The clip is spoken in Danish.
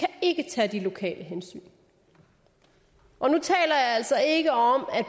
ikke kan tage de lokale hensyn og nu taler jeg altså ikke om at